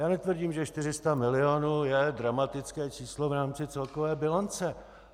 Já netvrdím, že 400 mil. je dramatické číslo v rámci celkové bilance.